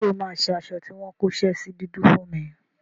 Ṣé o máa ṣe aṣọ tí wọ́n kóṣẹ́ sí dúdú fún mi?